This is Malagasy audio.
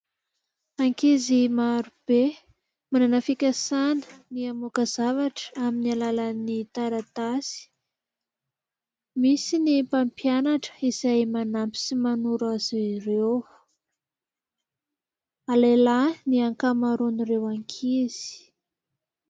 Ankizy marobe manana fikasana ny hamaoka zavatra amin'ny alàlan'ny taratasy, misy ny mpampianatra izay manampy sy manoro azy ireo. Lehilahy ny ankamaroan'ireo ankizy.